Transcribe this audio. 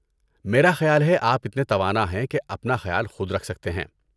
میرا خیال ہے آپ اتنے توانا ہیں کہ اپنا خیال خود رکھ سکتے ہیں۔